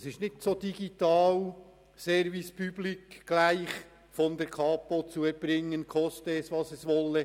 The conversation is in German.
Es ist nicht so binär, dass man einfach Ja oder Nein dazu sagen muss, dass die Leistungen der Kapo als Service public zu erbringen sind, koste es, was es wolle.